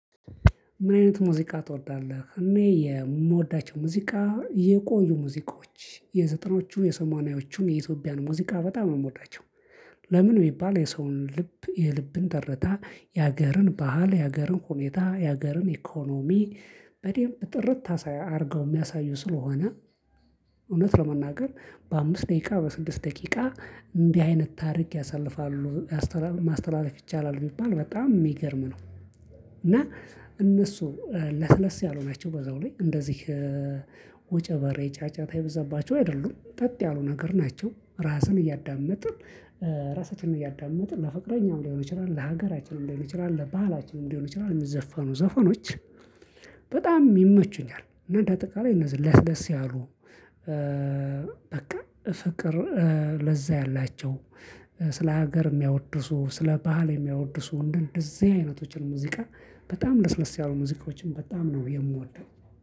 ምን? አይነት ሙዚቃ ትወዳለህ እኔ የምወዳቸው ሙዚቃ የቆዩ ሙዚቃዎች የዘጠናዎቹን እአ የሰማኒያዎቹን የኢትዮጵያን ሙዚቃ በጣም እምወዳቸው። ለምን ቢባል የሰውን ልብ የልብን ትርታ የሀገርን ባህል የሀገርን ሁኔታ የሀገርን ኢኮኖሚ በደንብ ጥርት አድርገው የሚያሳዩ ስለሆነ። እውነት ለመናገር በአምስት ደቂቃ በስድስት ደቂቃ እንዲህ አይነት ታሪክ ያሳልፋሉ ማስተላለፍ ይቻላል ቢባል በጣም የሚገርም ነው። እና እነሱ ለስለስ ያሉ ናቸው በዛው ላይ እንደዚህ ወጨበሬ ጫጫታ የበዛባቸው አይደሉም ጸጥ ያሉ ነገር ናቸው። እራስን እያዳመጥን እራሳቸውንም እያዳመጡ ለፍቅረኛም ሊሆን ይችላል ለሀገራቸውም ሊሆን ይችላል ለባህላቸውም ሊሆን ይችላል የሚዘፈኑ ዘፈኖች። በጣም ይመቹኛል። እና እንደ አጠቃላይ እነዚህ ለስለስ ያሉ በቃ ፍቅር ለዛ ያላቸው ስለ ሀገር የሚያወድሱ ስለ ባህል የሚያወድሱ እንደዚህ አይነቶችን ሙዚቃ። በጣም ለስለስ ያሉ ሙዚቃዎችን በጣም ነው የምወደው።